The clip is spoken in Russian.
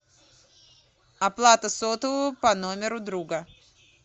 оплата сотового по номеру друга